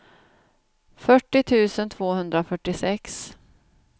fyrtio tusen tvåhundrafyrtiosex